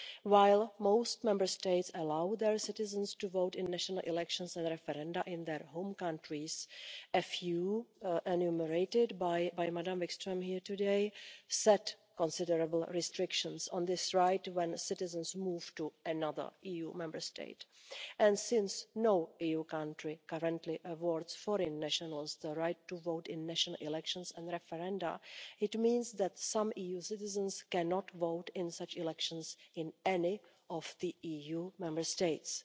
While most Member States allow their citizens to vote in national elections and referenda in their home countries, a few, enumerated by Madam Wikström today, set considerable restrictions on this right when citizens move to another EU Member State. Since no EU country currently awards foreign nationals the right to vote in national elections and referenda, it means that some EU citizens cannot vote in such elections in any of the EU Member States.